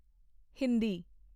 Hindi